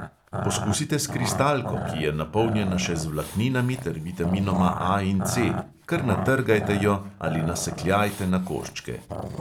Poskusite s kristalko, ki je napolnjena še z vlakninami ter vitaminoma A in C kar natrgajte jo ali nasekljajte na koščke.